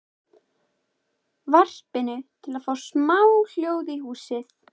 varpinu, til að fá smá hljóð í húsið.